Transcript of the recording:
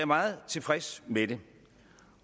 meget tilfreds med det